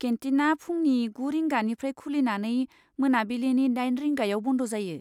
केन्टिना फुंनि गु रिंगानिफ्राय खुलिनानै मोनाबिलिनि दाइन रिंगायाव बन्द जायो।